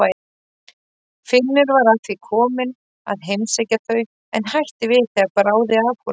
Finnur var að því kominn að heimsækja þau en hætti við þegar bráði af honum.